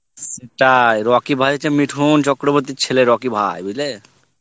style Rocky ভাই হচ্ছে মিঠুন চক্রবর্তীর ছেলে রকি ভাই বুজলে?